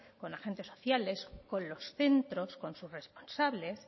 con agentes sociales con los centros con sus responsables